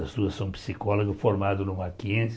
As duas são psicólogas, formadas no Mackenzie.